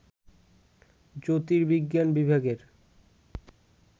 জ্যোতির্বিজ্ঞান বিভাগের